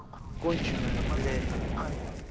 конченая блять